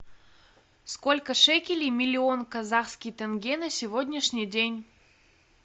сколько шекелей миллион казахский тенге на сегодняшний день